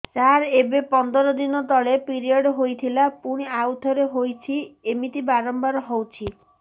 ସାର ଏବେ ପନ୍ଦର ଦିନ ତଳେ ପିରିଅଡ଼ ହୋଇଥିଲା ପୁଣି ଆଉଥରେ ହୋଇଛି ଏମିତି ବାରମ୍ବାର ହଉଛି